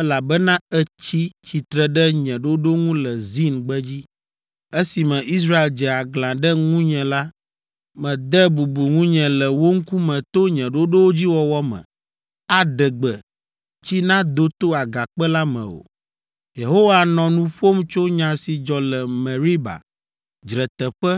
elabena ètsi tsitre ɖe nye ɖoɖo ŋu le Zin gbedzi. Esime Israel dze aglã ɖe ŋunye la, mède bubu ŋunye le wo ŋkume to nye ɖoɖowo dzi wɔwɔ me, aɖe gbe, tsi nado to agakpe la me o.” (Yehowa nɔ nu ƒom tso nya si dzɔ le Meriba, Dzreteƒe,